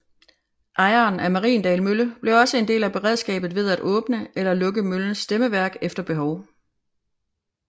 Ejeren af Mariendal Mølle blev også en del af beredskabet ved at åbne eller lukke møllens stemmeværk efter behov